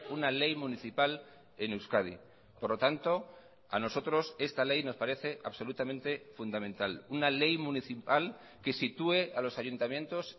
una ley municipal en euskadi por lo tanto a nosotros esta ley nos parece absolutamente fundamental una ley municipal que sitúe a los ayuntamientos